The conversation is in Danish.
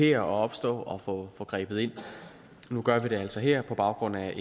det opstår og få grebet ind nu gør vi det altså her på baggrund af